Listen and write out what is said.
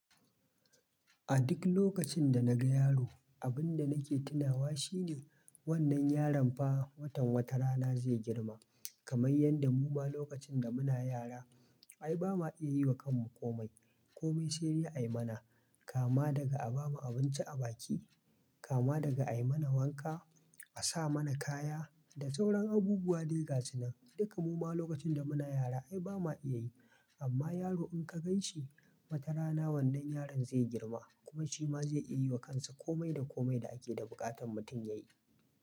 A duk lokacin da naga yaro, abun da nake tunawa shine wannan yaron fa, watan wata rana zai girma, kamar yadda muma lokacin da muna yara, ai bama iya yiwa kanmu komai. Komi sai dai a yi mana, Kama daga a bamu abinci a baki, kama daga a yi mana wanka, a sa mana kaya, da sauran abubuwa dai ga su nan. Duka muma lokacin da muna yara ai bama iya yi. Amma yaro in ka gan shi, wata rana wannan yaron zai girma, kuma shi ma zai iya yiwa kansa komai da komai da ake da buƙatar mutum ya yi.